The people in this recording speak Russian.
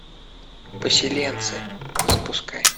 поселенцы запускай